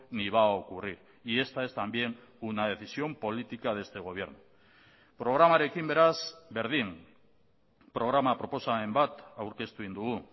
ni va a ocurrir y esta es también una decisión política de este gobierno programarekin beraz berdin programa proposamen bat aurkeztu egin dugu